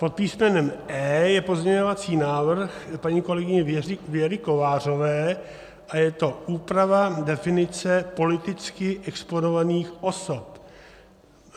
Pod písmenem E je pozměňovací návrh paní kolegyně Věry Kovářové a je to úprava definice politicky exponovaných osob.